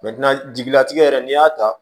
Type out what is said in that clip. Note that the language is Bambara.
jigilatigɛ yɛrɛ n'i y'a ta